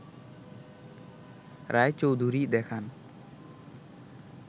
রায়চৌধুরী দেখান